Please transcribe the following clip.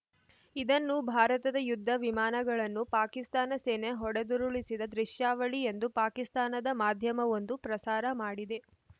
ಇದನ್ನು ಭಾರತದ ಯುದ್ಧ ವಿಮಾನಗಳನ್ನು ಪಾಕಿಸ್ತಾನ ಸೇನೆ ಹೊಡೆದುರುಳಿಸಿದ ದೃಶ್ಯಾವಳಿ ಎಂದು ಪಾಕಿಸ್ತಾನದ ಮಾಧ್ಯಮವೊಂದು ಪ್ರಸಾರ ಮಾಡಿದೆ